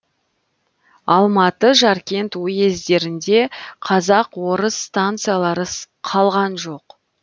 алматы жаркент уездерінде казак орыс станциялары қалған жоқ